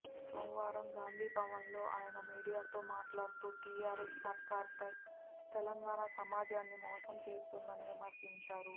సోమవారం గాంధీభవన్లో ఆయన మీడియాతో మాట్లాడుతూ టీఆర్ఎస్ సర్కార్ తెలంగాణ సమాజాన్ని మోసం చేస్తుందని విమర్శించారు